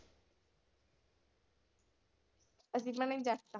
ਅਸੀਂ ਭੈਣੇ ਜੱਟ ਆ।